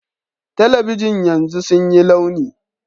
Talabijin yanzu sun yi launi